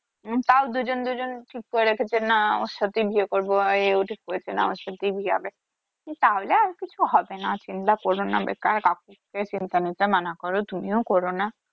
তাও দুজন দুজন ঠিক করে রেখেছে না আমার সাথেই বিয়ে করবো ও ঠিক করেছে ওর সাথেই বিয়ে হবে তাহলে আর কিছু হবে না চিন্তা করো না বেকার কাউকে চিন্তা নিতে করো তুমিও করো না